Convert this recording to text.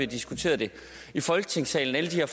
diskuteret det i folketingssalen altså